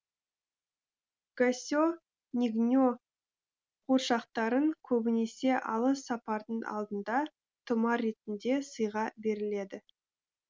госе нигне қуыршақтарын көбінесе алыс сапардың алдында тұмар ретінде сыйға беріледі